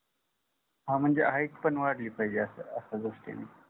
हा म्हणजे height पण वाढली पहिजे अस अश्या गोष्टी